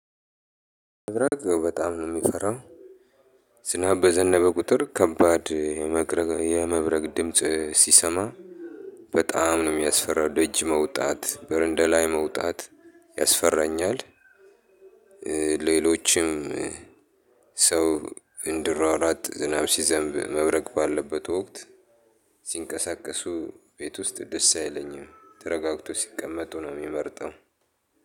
መብረቅ በጣም ነው የምፈራው። ዝናብ በዘነበ ቁጥር ከባድ የመብረግ የመብረቅ ድምጽ ስሰማ። በጣም ነው የሚያስፈራው ደጅ መውጣት በረንዳ ላይ መውጣት ያስፈራኛል። ሌሎችም ሰዎች እንዲሯሯጥ ዝናብ ሲዘምብ መብረቅ ባለበት ወክት። ሲንቀሳቀሱ ቤት ውስጥ ደስ አይለኝም ተረጋግተው ሲቀመቱ ነው ምመረጠው።